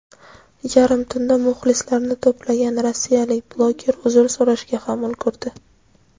yarim tunda muxlislarini to‘plagan rossiyalik bloger uzr so‘rashga ham ulgurdi.